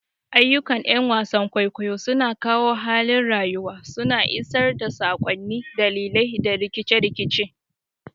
Ayyukan ƴan wasan kwaikwayo suna kawo halin rayuwa, suna isar da sakonni, dalilai, da rikice-rikice.